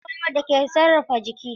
Kai ya ƙunshi ƙwaƙwalwar da ke sarrafa jiki.